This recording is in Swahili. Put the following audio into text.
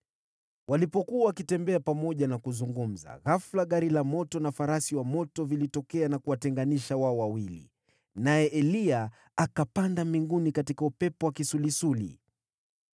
Walipokuwa wakitembea pamoja na kuzungumza, ghafula gari la moto na farasi wa moto vilitokea na kuwatenganisha wao wawili, naye Eliya akapanda mbinguni katika upepo wa kisulisuli.